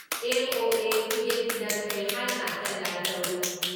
MOA. ꯈꯨꯠꯌꯦꯛ ꯄꯤꯅꯈ꯭ꯔꯦ ꯍꯥꯏꯅ ꯍꯦꯗꯂꯥꯏꯟ ꯇꯧꯔꯤ ꯫